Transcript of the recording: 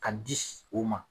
K'a di s o ma